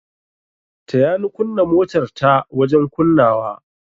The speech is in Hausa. Taya ni kunna motar ta wajen kunnawa.